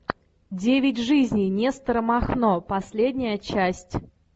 девять жизней нестора махно последняя часть